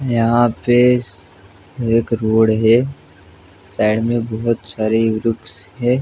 यहां पे एक रोड़ हैसाइड में बहुत सारे ग्रुपस है।